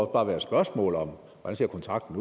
bare være spørgsmål om hvordan kontrakten